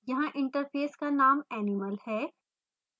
यहाँ interface का name animal है